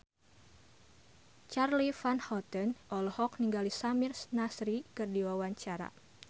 Charly Van Houten olohok ningali Samir Nasri keur diwawancara